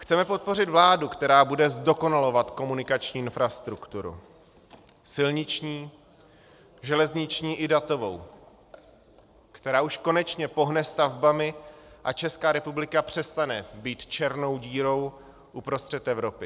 Chceme podpořit vládu, která bude zdokonalovat komunikační infrastrukturu silniční, železniční i datovou, která už konečně pohne stavbami a Česká republika přestane být černou dírou uprostřed Evropy.